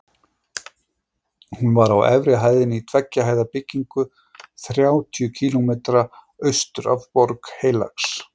Hún var á efri hæðinni í tveggja hæða byggingu þrjátíu kílómetra austur af Borg Heilags